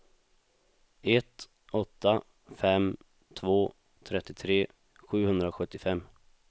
ett åtta fem två trettiotre sjuhundrasjuttiofem